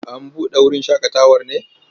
An buɗe wurin shaƙatawar ne?